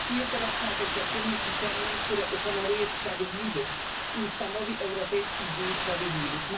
Pracuję teraz nad oświadczeniem pisemnym, które uhonoruje sprawiedliwych i ustanowi Europejski Dzień Sprawiedliwych.